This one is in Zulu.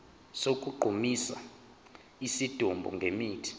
sokugqumisa isidumbu ngemithi